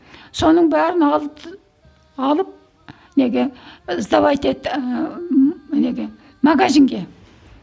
соның бәрін алып неге сдавать етті неге магазинге